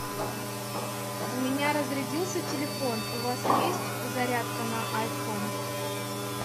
у меня разрядился телефон у вас есть зарядка на айфон